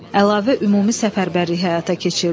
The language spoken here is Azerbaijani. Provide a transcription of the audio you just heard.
Əlavə ümumi səfərbərlik həyata keçirdi.